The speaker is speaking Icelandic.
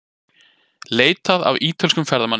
Leitað að ítölskum ferðamanni